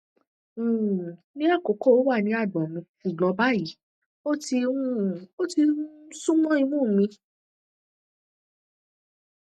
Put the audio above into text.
um ní àkọkọ ó wà ní àgbọn mi ṣùgbọn báyìí ó ti um ó ti um sún mọ imú mi